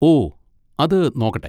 ഓ, അത് നോക്കട്ടെ!